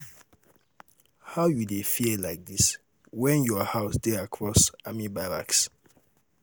how you um dey fear like dis when your house dey across across army barracks? um